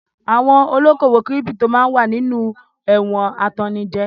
Àwọn olókòwò kírípító wà nínú ewu awọn atannijẹ.